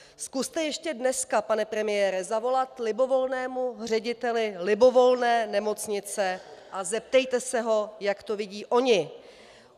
Zkuste ještě dneska, pane premiére, zavolat libovolnému řediteli libovolné nemocnice a zeptejte se ho, jak to vidí oni.